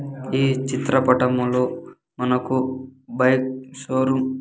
ఈ చిత్ర పటములో మనకు బైక్ షోరూం .